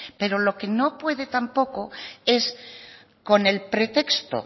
pero lo que no puede tampoco es con el pretexto